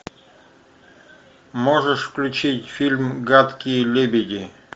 можешь включить фильм гадкие лебеди